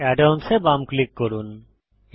add ons এ বাম click করুন